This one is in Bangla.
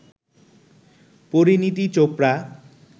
পরিনীতি চোপড়া